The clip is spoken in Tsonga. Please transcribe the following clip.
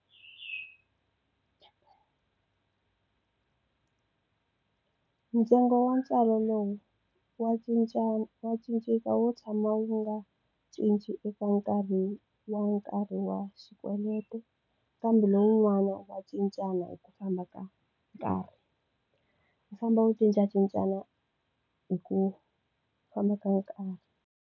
Ntsengo wa ntswalo lowu, wa wa cinceka wo tshama wu nga cinci eka nkarhi wa nkarhi wa xikweleti, kambe lowun'wana wa cincana hi ku famba ka nkarhi. Wu famba u cincacincana hi ku famba ka nkarhi.